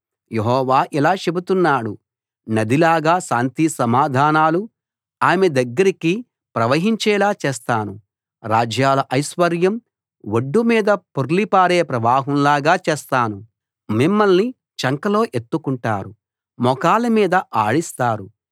యెహోవా ఇలా చెబుతున్నాడు నదిలాగా శాంతిసమాధానాలు ఆమె దగ్గరికి ప్రవహించేలా చేస్తాను రాజ్యాల ఐశ్వర్యం ఒడ్డు మీద పొర్లిపారే ప్రవాహంలాగా చేస్తాను మిమ్మల్ని చంకలో ఎత్తుకుంటారు మోకాళ్ల మీద ఆడిస్తారు